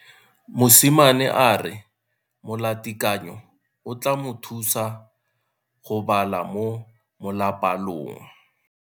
Mosimane a re molatekanyo o tla mo thusa go bala mo molapalong.